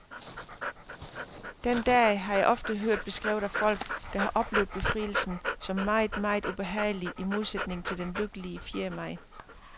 Den dag har jeg ofte hørt beskrevet af folk, der har oplevet befrielsen, som meget, meget ubehagelig i modsætning til den lykkelige fjerde maj.